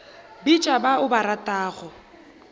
bitša ba o ba ratago